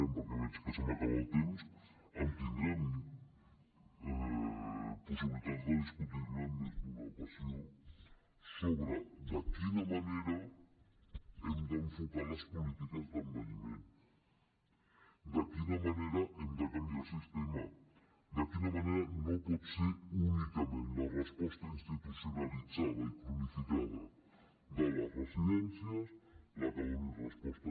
perquè veig que se m’acaba el temps en tindrem possibilitats de discutir ne en més d’una ocasió sobre de quina manera hem d’enfocar les polítiques d’envelliment de quina manera hem de canviar el sistema de quina manera no pot ser únicament la resposta institucionalitzada i cronificada de les residències la que doni resposta